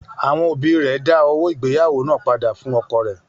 Àwọn òbí rẹ̀ dá owó ìgbéyàwó náà padà fún ọkọ rẹ̀.